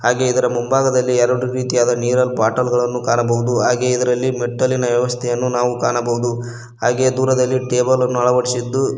ಹಾಗೆ ಇದರ ಮುಂಭಾಗದಲ್ಲಿ ಎರಡು ರೀತಿಯ ನೀರಲ್ ಬಾಟಲ್ ಗಳನ್ನು ಕಾಣಬಹುದು ಹಾಗೆ ಇದರಲ್ಲಿ ಮೆಟ್ಟಲಿನ ವ್ಯವಸ್ಥೆಯನ್ನು ನಾವು ಕಾಣಬಹುದು ಹಾಗೆ ದೂರದಲ್ಲಿ ಟೇಬಲ್ ಅನ್ನು ಅಳವಡಿಸಿದ್ದು--